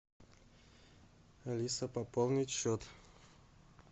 алиса пополнить счет